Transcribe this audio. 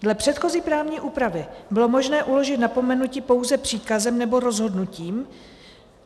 Dle předchozí právní úpravy bylo možné uložit napomenutí pouze příkazem nebo rozhodnutím.